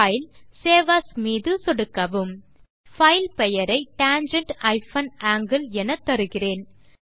பைல்க்ட்க்ட் save as மீது சொடுக்கவும் file பெயரை tangent ஆங்கில் எனத்தருகிறேன்